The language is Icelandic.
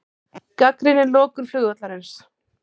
Gagnrýnir lokun flugvallarins